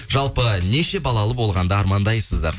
жалпы неше балалы болғанды армандайсыздар